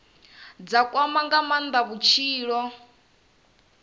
dza kwama nga maanda vhutshilo